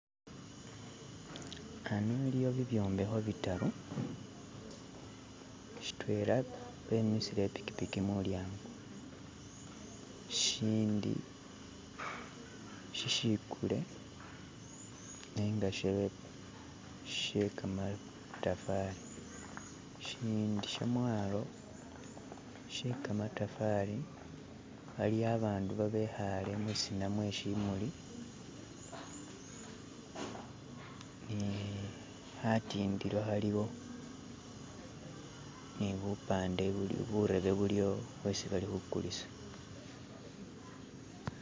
Ano iliwo bibyombeko bidatu, shidwena bemisile ipikipiki mulyango, ishindi shishigule nenga she gamatafali. ishindi shamwalo she gamatafali aliyo abantu abikale mwisina mwe shimuli ni katindilo kaliwo ni bupande butebe buli awo bwesi bali kugulisa.